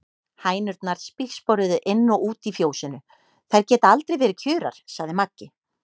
Hænurnar spígsporuðu inn og út í fjósinu, þær geta aldrei verið kjurar, sagði Maggi.